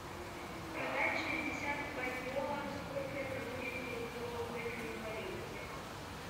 продать шестьдесят бальбоа сколько это будет в рублевом эквиваленте